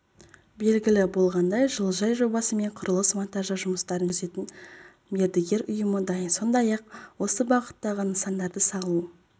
белгілі болғандай жылыжай жобасы мен құрылыс-монтаждау жұмыстарын жүргізетін мердігер ұйымы дайын сондай-ақ осы бағыттағы нысандарды салу